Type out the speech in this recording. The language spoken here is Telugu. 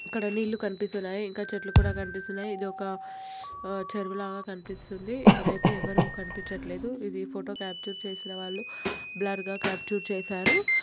ఇక్కడ అన్ని ఇళ్ళులు కనిపిస్తున్నాయి ఇంకా చెట్లు కూడా కనిపిస్తున్నాయి ఇదొక చెరువులాగా కనిపిస్తుంది ఇక్కడైతే ఎవరు కనిపించట్లేదు ఇవి ఫోటో క్యాప్చర్ చేసిన వాళ్ళు బ్లర్ గా క్యాప్చర్ చేశారు.